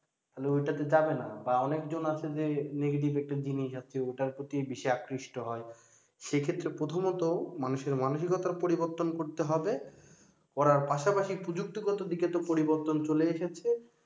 তাহলে ওই টা তে যাবে না বা অনেকজন আছে যে negative একটা জিনিস আছে ওটার প্রতি বেশি আকৃষ্ট হয় সেক্ষেত্রে প্রথমত মানুষের মানসিকতার পরিবর্তন করতে হবে করার পাশাপাশি প্রযুক্তিগত দিকে তো পরিবর্তন চলে এসেছে